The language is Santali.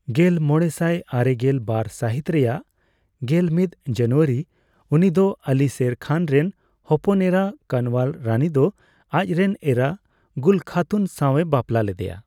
ᱜᱮᱞᱢᱚᱲᱮᱥᱟᱭ ᱟᱨᱮᱜᱮᱞ ᱵᱟᱨ ᱥᱟᱹᱦᱤᱛ ᱨᱮᱭᱟᱜ ᱜᱮᱞ ᱢᱤᱫ ᱡᱟᱱᱩᱣᱟᱨᱤ, ᱩᱱᱤ ᱫᱚ ᱟᱞᱤ ᱥᱮᱨ ᱠᱷᱟᱱ ᱨᱮᱱ ᱦᱚᱯᱚᱱ ᱮᱨᱟ ᱠᱟᱱᱣᱟᱞ ᱨᱟᱹᱱᱤ ᱫᱚ ᱟᱡᱨᱮᱱ ᱮᱨᱟ ᱜᱩᱞ ᱠᱷᱟᱛᱩᱱ ᱥᱟᱣᱮ ᱵᱟᱯᱞᱟ ᱞᱮᱫᱮᱭᱟ ᱾